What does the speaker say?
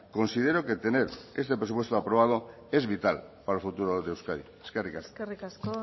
considero que tener este presupuesto aprobado es vital para el futuro de euskadi eskerrik asko eskerrik asko